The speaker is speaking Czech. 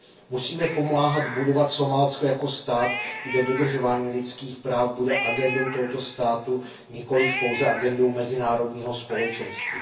Musíme pomáhat budovat Somálsko jako stát, kde dodržování lidských práv bude agendou tohoto státu, nikoliv pouze agendou mezinárodního společenství.